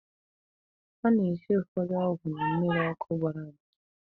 A na-esi ụfọdụ ọgwụ na mmịrị ọkụ gbọrọ agbọ.